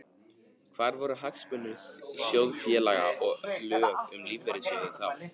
Hvar voru hagsmunir sjóðfélaga og lög um lífeyrissjóði þá?